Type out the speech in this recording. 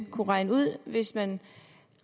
kunne regne ud hvis man